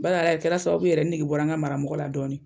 Bari a yɛrɛ kɛra sababu ye yɛrɛ n nege bɔra n ka maramɔgɔ la dɔɔni